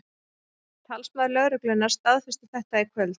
Talsmaður lögreglunnar staðfesti þetta í kvöld